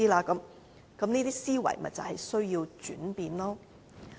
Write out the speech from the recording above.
這些思維是需要轉變的。